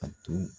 A tun